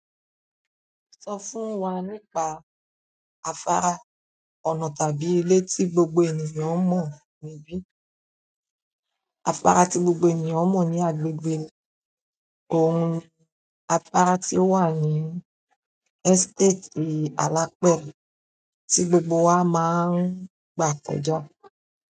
Sọ fún wa nípa afárá, ọ̀nà tàbí ilé tí gbogbo ènìyàn mọ̀ níbí. Afárá tí gbogbo ènìyàn mọ̀ ní agbègbè mi òun ni. Afárá tí ó wà ní ẹ́sítétì Alapẹ tí gbogbo wa máa ń gbà kọjá.